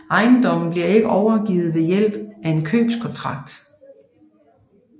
Ejendommen bliver ikke overgivet ved hjælp af en købekontrakt